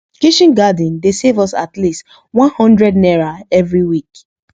kitchen garden dey save us at least onehundred naira every week